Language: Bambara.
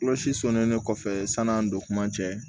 Kulusi sɔnnin kɔfɛ san'an don kuma cɛ